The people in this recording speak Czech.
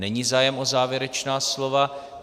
Není zájem o závěrečná slova.